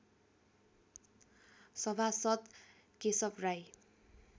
सभासद् केशव राई